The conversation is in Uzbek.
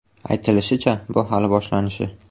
Aytilishicha, bu hali boshlanishi.